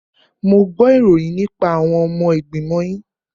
Mo gbo ìròyìn nípa àwọn ọmọ ìgbìmọ̀ yín.